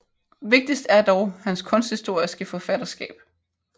Vigtigst er dog hans kunsthistoriske forfatterskab